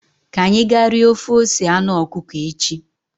Ka anyị ga rie ofe ose anụ ọkụkọ echi